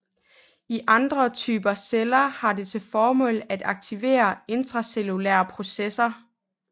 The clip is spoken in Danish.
I andre typer celler har det til formål at aktivere intracellulære processer